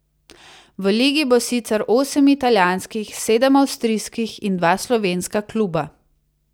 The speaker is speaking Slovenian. V ligi bo sicer osem italijanskih, sedem avstrijskih in dva slovenska kluba.